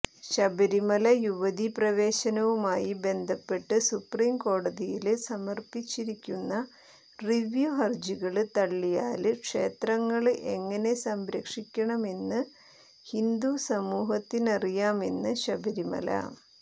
ശബരിമല യുവതി പ്രവേശനവുമായി ബന്ധപ്പെട്ട് സുപ്രീംകോടതിയില് സമര്പ്പിച്ചിരിക്കുന്ന റിവ്യൂ ഹര്ജികള് തള്ളിയാല് ക്ഷേത്രങ്ങള് എങ്ങനെ സംരക്ഷികണമെന്ന് ഹിന്ദു സമൂഹത്തിനറിയാമെന്ന് ശബരിമല